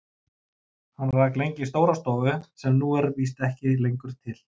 Hann rak lengi stóra stofu sem nú er víst ekki lengur til.